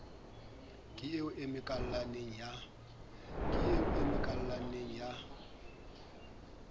ke eo a emakalaneng ya